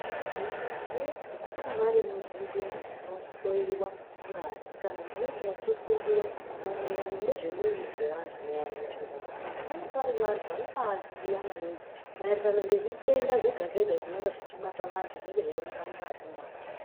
Vantu vanonga vari muzvinzvimbo dzinohloyiwa ngazi kana munenge muchifundiwaa maererano nezve miiri dzevantu muyani, muzvimbatsozvo , vanonga vari vantu vanombaaziya maningi maererano nezvitenda zvega zvega zvinenga zveibata vantu, zvinenge zveioneka mungazi meantu.